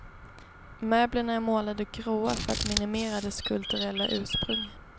Möblerna är målade gråa, för att minimera dess kulturella ursprung.